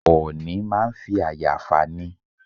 Ọ̀ọ̀nì máa ń fi àyà fà ni.